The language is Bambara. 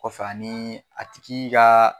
Kɔfɛ ani a tigi ka